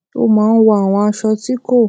ó máa ń wọ àwọn aṣọ ti ko